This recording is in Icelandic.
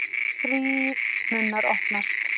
Þrír munnar opnast.